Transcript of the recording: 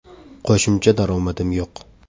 Qo‘shimcha daromadim yo‘q.